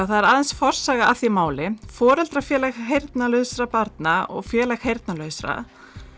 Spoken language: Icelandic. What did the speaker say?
það er aðeins forsaga að því máli foreldrafélag heyrnarlausra barna og Félag heyrnarlausra